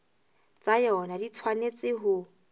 tsa yona di tshwanetse ho